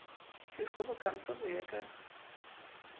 di kgobokantswe ho ya ka